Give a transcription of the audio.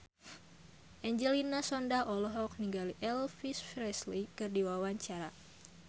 Angelina Sondakh olohok ningali Elvis Presley keur diwawancara